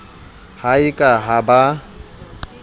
ha e ka ha ba